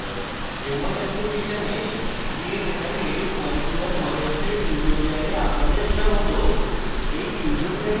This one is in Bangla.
নমস্কার jmol অ্যাপ্লিকেশনে create and edit molecular models এর tutorial আপনাদের স্বাগত